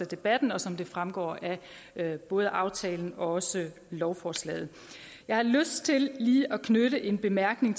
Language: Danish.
debatten og som det fremgår af både aftalen og også lovforslaget jeg har lyst til lige at knytte en bemærkning